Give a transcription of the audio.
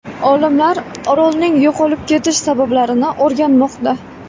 Olimlar orolning yo‘qolib ketish sabablarini o‘rganmoqda.